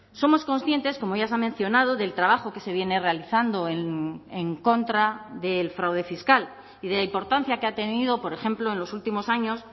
somos conscientes como ya se ha mencionado del trabajo que se viene realizando en contra del fraude fiscal y de la importancia que ha tenido por ejemplo en los últimos años